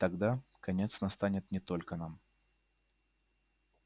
тогда конец настанет не только нам